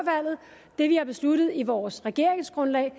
det vi har besluttet i vores regeringsgrundlag